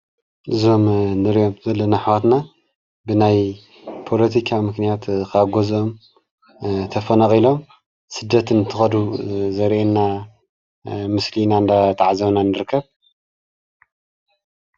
እዞም እንሪኦም ዘለና ኣሕዋትና ብናይ ፓለቲካ ምኽንያት ኻብ ገዝኦም ተፈናቂሎም ሰደት እንትኸዱ ዘርእየና ምስሊ ኢና እናተዓዘብና ንርከብ።